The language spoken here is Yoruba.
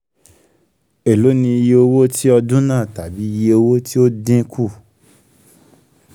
èló ni iye owó tí ọdún náà tàbí iye owó tí ó dín kù?